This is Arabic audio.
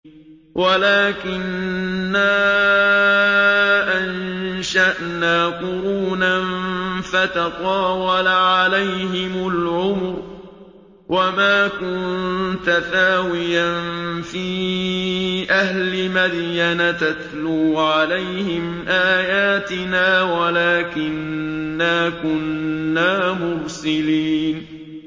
وَلَٰكِنَّا أَنشَأْنَا قُرُونًا فَتَطَاوَلَ عَلَيْهِمُ الْعُمُرُ ۚ وَمَا كُنتَ ثَاوِيًا فِي أَهْلِ مَدْيَنَ تَتْلُو عَلَيْهِمْ آيَاتِنَا وَلَٰكِنَّا كُنَّا مُرْسِلِينَ